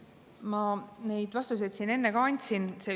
Ma neid vastuseid siin enne ka andsin.